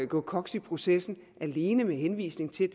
gå koks i processen alene med henvisning til